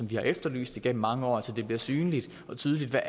vi har efterlyst igennem mange år nemlig at det bliver synligt og tydeligt hvad